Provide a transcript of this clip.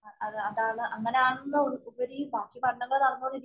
അത് അതാണ് അങ്ങനെയാണെന്നുപരി ബാക്കി പഠനങ്ങള്‍ നടന്നു കൊണ്ടിരി